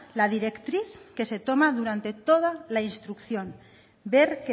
la directriz que se toma durante toda la instrucción ver